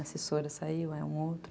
A assessora saiu,